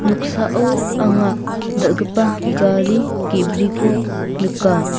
noksao anga dal·gipa gari ge·briko nika.